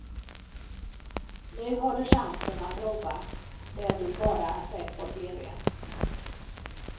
Nu har du chansen att prova det du bara sett på tv.